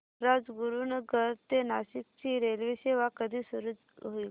राजगुरूनगर ते नाशिक ची रेल्वेसेवा कधी सुरू होईल